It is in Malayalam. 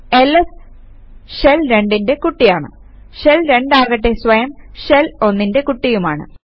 എൽഎസ് ഷെൽ 2ന്റെ കുട്ടിയാണ് ഷെൽ 2 ആകട്ടെ സ്വയം ഷെൽ 1ന്റെ കുട്ടിയുമാണ്